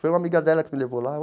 Foi uma amiga dela que me levou lá.